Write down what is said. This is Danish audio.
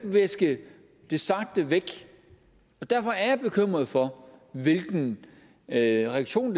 viske det sagte væk og derfor er jeg bekymret for hvilken reaktion